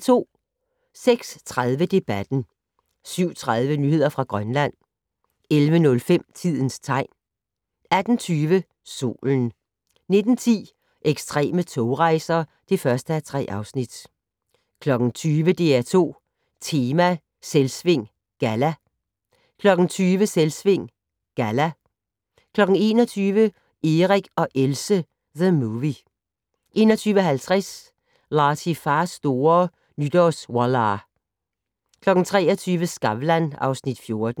06:30: Debatten 07:30: Nyheder fra Grønland 11:05: Tidens tegn 18:20: Solen 19:10: Ekstreme togrejser (1:3) 20:00: DR2 Tema: Selvsving Galla 20:00: Selvsving Galla 21:00: Erik og Else - The movie 21:50: Latifahs store Nytårswallah 23:00: Skavlan (Afs. 14)